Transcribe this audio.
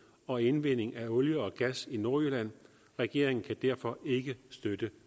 og indvinding af olie og gas i nordjylland regeringen kan derfor ikke støtte